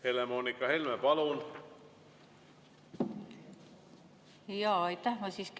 Helle-Moonika Helme, palun!